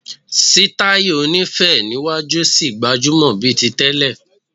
Sítáì oní féé níwájú ṣì gbajúmọ̀ bíi ti tẹ́lẹ̀.